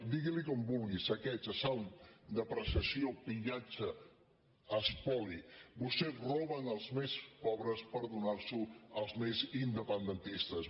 digui li com vulgui saqueig assalt depreciació pillatge espoli vostès roben als més pobres per donar ho als més independentistes